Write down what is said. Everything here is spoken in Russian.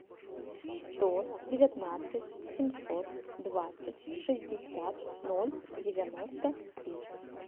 сто девятнадцать семьсот двадцать шестьдесят ноль девяносто три